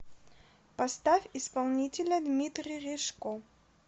поставь исполнителя дмитрий ришко